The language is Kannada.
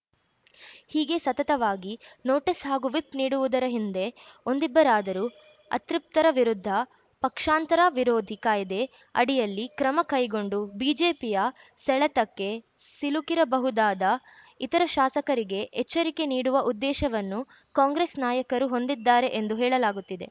ಹೀಗೆ ಸತತವಾಗಿ ನೋಟಿಸ್‌ ಹಾಗೂ ವಿಪ್‌ ನೀಡುವುದರ ಹಿಂದೆ ಒಂದಿಬ್ಬರಾದರೂ ಅತೃಪ್ತರ ವಿರುದ್ಧ ಪಕ್ಷಾಂತರ ವಿರೋಧಿ ಕಾಯ್ದೆ ಅಡಿಯಲ್ಲಿ ಕ್ರಮ ಕೈಗೊಂಡು ಬಿಜೆಪಿಯ ಸೆಳೆತಕ್ಕೆ ಸಿಲುಕಿರಬಹುದಾದ ಇತರ ಶಾಸಕರಿಗೆ ಎಚ್ಚರಿಕೆ ನೀಡುವ ಉದ್ದೇಶವನ್ನು ಕಾಂಗ್ರೆಸ್‌ ನಾಯಕರು ಹೊಂದಿದ್ದಾರೆ ಎಂದು ಹೇಳಲಾಗುತ್ತಿದೆ